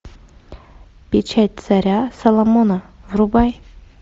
печать царя саломона врубай